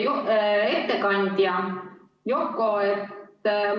Austatud ettekandja Yoko!